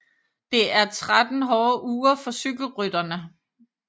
Det er 3 hårde uger for cykelrytterne